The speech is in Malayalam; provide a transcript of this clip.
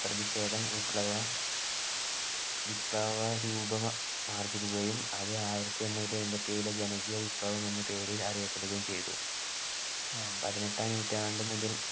പ്രതിഷേധം വിപ്ലവ വിപ്ലവ രൂപം ആർജ്ജിക്കുകയും അത് ആയിരത്തിഎണ്ണൂറ്റിഅയ്മ്പത്തിഏഴിൽ ജനകീയ വിപ്ലവം എന്ന പേരിൽ അറിയപ്പെടുകയും ചെയ്തു പതിനെട്ടാം നൂറ്റാണ്ടു മുതൽ